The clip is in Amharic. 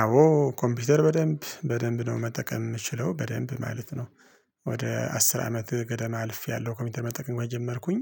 አዎ ኮምፒውተር በደንብ በደንብ ነው መጠቀም የምችለው በደንብ ማለት ነው። ወደ አስር አመት ገደማ አልፌያለሁ ኮምፒውተር መጠቀም ከጀመርኩኝ።